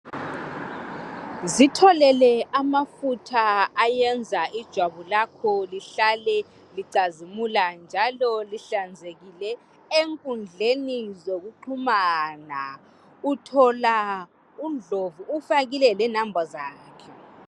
Zitholele amafutha ayenza ijwabu lakho lihlale licazimula njalo lihlanzekile enkundleni yokuxhumana, uthola uNdlovu ufakile lenamba zakhe.